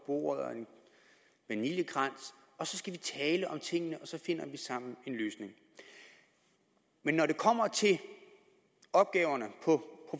bordet og en vaniljekrans og så skal vi tale om tingene og så finder vi sammen en løsning men når det kommer til opgaverne på